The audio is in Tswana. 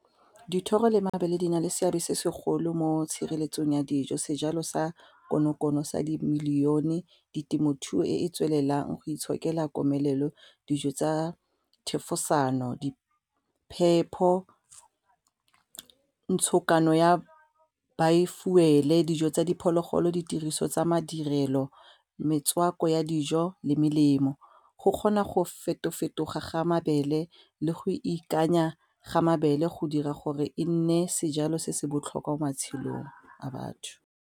Dithoro le mabele di na le seabe se segolo mo tshireletsong ya dijo sejalo sa konokono sa di-million-e ditemothuo e e tswelelang go itshokela komelelo, dijo tsa thefosano, di phepho ntshokano ya bi-fuel, dijo tsa diphologolo, ditiriso tsa madirelo, metswako ya dijo le melemo go kgona go feto fetoga ga mabele le go ikanya ga mabele go dira gore e nne sejalo se se botlhokwa mo matshelong a batho.